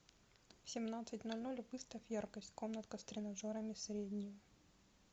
в семнадцать ноль ноль выставь яркость комнатка с тренажерами среднюю